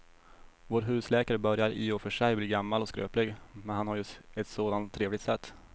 Vår husläkare börjar i och för sig bli gammal och skröplig, men han har ju ett sådant trevligt sätt!